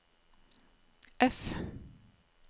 F